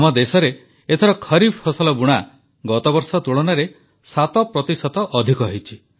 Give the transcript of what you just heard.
ଆମ ଦେଶରେ ଏଥର ଖରିଫ ଫସଲ ବୁଣା ଗତବର୍ଷ ତୁଳନାରେ ସାତ ପ୍ରତିଶତ ଅଧିକ ହୋଇଛି